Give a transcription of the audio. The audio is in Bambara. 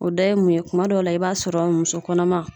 O da ye mun ye kuma dɔw la i b'a sɔrɔ muso kɔnɔma